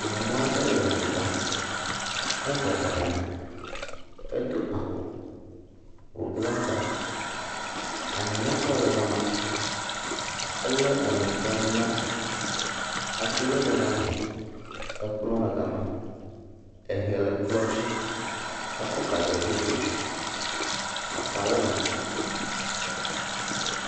Nyɔnua ɖe le nu ɖa. Ebɔbɔ nɔ anyi. Edo awu wobla ta. Anyiŋexɔ le ga ma. Ele enutɔnu la si. Ate le le ga ma. Ekplɔ le le ga ma. Ehe le kplɔ dzi. Ekɔ gaze ɖo dzo dzi aka le eme.